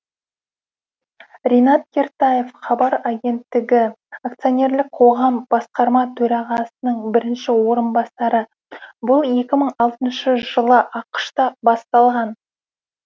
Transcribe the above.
ринат кертаев хабар агенттігі ақ басқарма төрағасының бірінші орынбасары бұл екі мың алтыншы жылы ақш та басталған